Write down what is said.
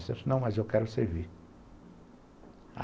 Eu disse, não, mas eu quero servir.